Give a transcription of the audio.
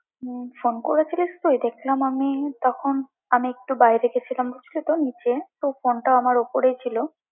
হম phone করেছিলিস তুই? দেখলাম আমি তখন, আমি একটু বাইরে গেছিলাম, বুঝলি তো নিচে, তো ফোনটা আমার ওপরেই ছিল